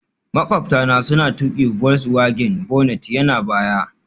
Maƙwabta na suna tuƙi volkswagen, bonnet yana baya